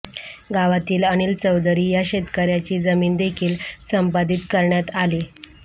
गावातील अनिल चौधरी या शेतकऱ्याची जमीनदेखील संपादित करण्यात आली